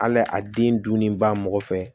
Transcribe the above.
Hali a den dun ni ba mɔgɔ fɛ